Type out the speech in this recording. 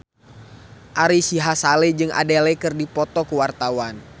Ari Sihasale jeung Adele keur dipoto ku wartawan